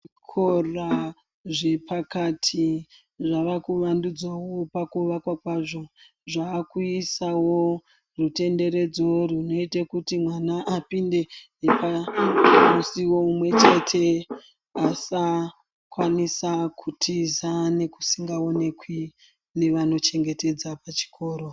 Muzvikora zvepakati mwava kuvandudzawo pakuvakwa kwazvo zvakuisawo rutenderedzo runoita kuti mwana apinde nepamusiwo umwechete asakwanisa kutiza nekusingaonekwi nevanochengetedza chikoro.